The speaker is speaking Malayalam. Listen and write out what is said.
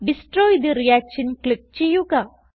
ഡെസ്ട്രോയ് തെ റിയാക്ഷൻ ക്ലിക്ക് ചെയ്യുക